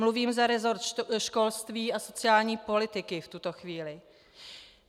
Mluvím za resort školství a sociální politiky v tuto chvíli.